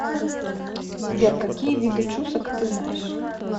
сбер какие виды чусок ты знаешь